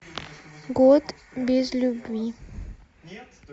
год без любви